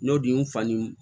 N'o di n fa ni